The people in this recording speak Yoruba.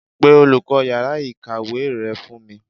Pe olùkó yàrá ìkàwé re fún mi